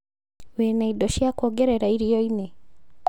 Wĩna indo cia kuongerea irio-inĩ?